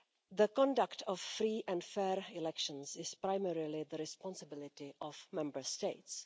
The conduct of free and fair elections is primarily the responsibility of Member States.